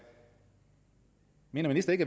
mener ministeren